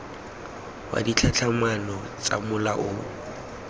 wa ditlhatlhamano tsa mola o